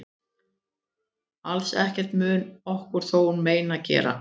Alls ekkert mun okkur þá mein gera.